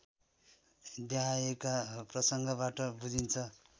देहायका प्रसङ्गबाट बुझिन्छ